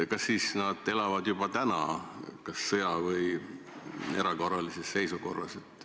Kas nad elavad siis juba praegu kas sõja- või erakorralises seisukorras?